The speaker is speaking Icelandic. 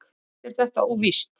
Allt er þetta óvíst.